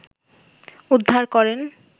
উদ্ধার করেন